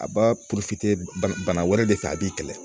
A b'a bana wɛrɛ de fɛ a b'i kɛlɛ